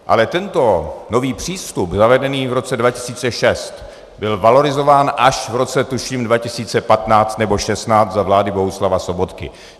Ale tento nový přístup, zavedený v roce 2006, byl valorizován až v roce tuším 2015 nebo 2016 za vlády Bohuslava Sobotky.